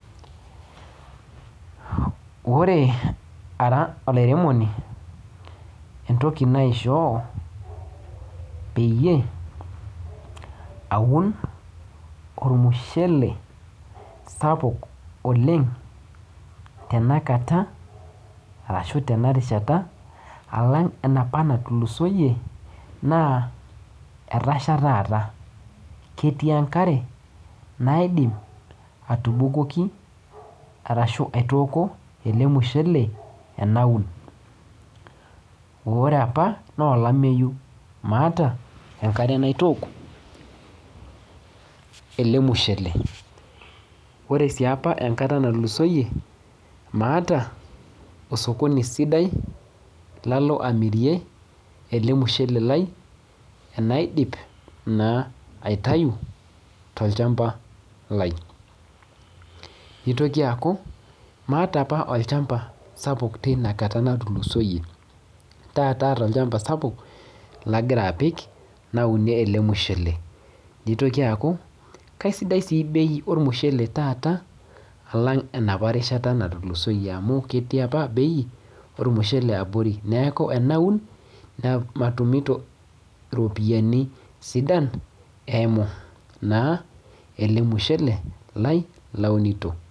Ore ara olairemoni entoki naishoo peyie aun ormushele sapuk oleng tenakata arashu tena rishat alang enapa natulusoyie naa etasha taata ketii enkare naidim atubukoki arashu aitooko ele mushele enaun ore apa nolameyu maata enkare naitook ele mushele ore sii apa enkata natulusoyie maata osokoni sidai lalo amirie ele mushele lai enaidip naa aitayu tolchamba lai nitoki aaku maata apa olchamba sapuk teina kata natulusoyie taata aata olchamba sapuk lagira apik naunie ele mushele nitoki aaku kaisidai sii bei ormushele taata alang enapa rishata natulusoyie amu ketii apa bei ormushele abori neku enaun nematumito iropiani sidan eimu naa ele mushele lai launito.